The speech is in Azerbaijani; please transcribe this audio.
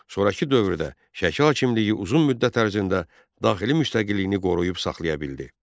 Sonrakı dövrdə Şəki hakimliyini uzun müddət ərzində daxili müstəqilliyini qoruyub saxlaya bildi.